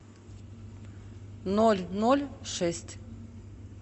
ноль ноль шесть